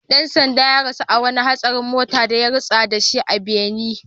Dan sandan ya rasu a wani hatsarin mota da ya rutsa da shi a Benin